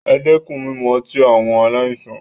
E dẹ́kun mímu ọtí, àwọn aláìsàn.